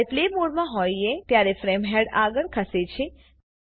જ્યારે પ્લે મોડમાં હોઈએ ત્યારે ફ્રેમ હેડ આગળ ખસે છે